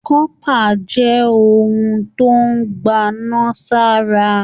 Kọpa jẹ ohun tó n gbana sara.